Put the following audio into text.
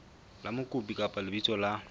la mokopi kapa lebitso la